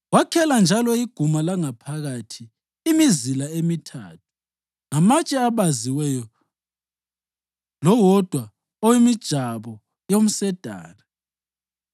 Wakhela njalo iguma langaphakathi imizila emithathu ngamatshe abaziweyo lowodwa owemijabo yomsedari.